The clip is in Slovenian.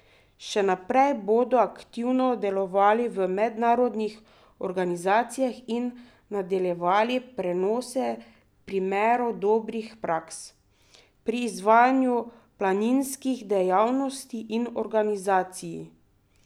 Še naprej bodo aktivno delovali v mednarodnih organizacijah in nadaljevali prenose primerov dobrih praks pri izvajanju planinskih dejavnosti in organizaciji.